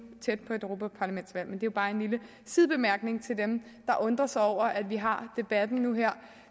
tæt på et europaparlamentsvalg men det er jo bare en lille sidebemærkning til dem der undrer sig over at vi har debatten nu der